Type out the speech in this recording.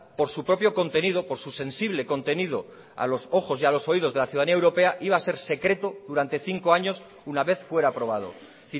por su propio contenido por su sensible contenido a los ojos y a los oídos de la ciudadanía europea iba a ser secreto durante cinco años una vez fuera aprobado es